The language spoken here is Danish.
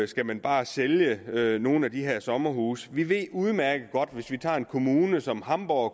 skal man bare sælge nogle af de her sommerhuse vi ved udmærket godt at en kommune som hamborg